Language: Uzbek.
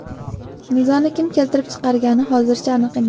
Nizoni kim keltirib chiqargani hozircha aniq emas.